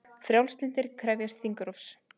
Frjálslyndir krefjast þingrofs